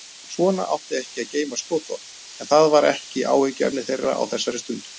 Svona átti ekki að geyma skotvopn en það var ekki áhyggjuefni þeirra á þessari stundu.